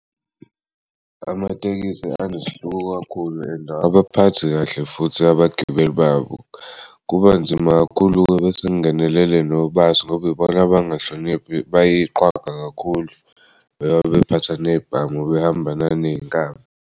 Amatekisi anesihluku kakhulu and awbaphathi kahle futhi abagibeli babo kuba nzima kakhulu-ke bese kungenelele nobasi ngoba ibona abangahloniphi bayiqhwaga kakhulu njengoba bephatha ney'bhamu behamba naney'nkabi.